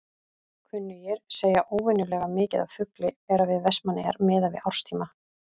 Kunnugir segja óvenjulega mikið af fugli vera við Vestmannaeyjar miðað við árstíma.